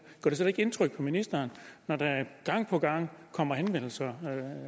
slet ikke indtryk på ministeren når der gang på gang kommer henvendelser